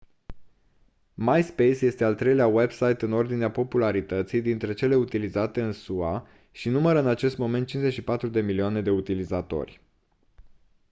myspace este al treilea website în ordinea popularității dintre cele utilizate în sua și numără în acest moment 54 de milioane de utilizatori